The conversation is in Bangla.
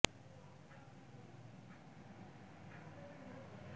এই নির্বাচনে জেলার সিনিয়র নির্বাচন কর্মকর্তা ফয়সাল কাদের রিটার্নিং কর্মকর্তা ও উপজেলা নির্বাচন কর্মকর্তা মো